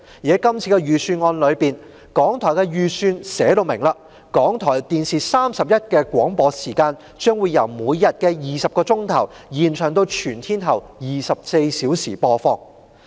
在今年的預算案裏，港台的預算寫明港台電視31的廣播時間，將由每天20小時延長至全天候24小時播放。